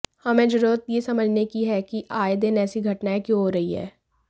हमें जरुरत यह समझने की है कि आये दिन ऐसी घटनायें क्यों हो रही हैं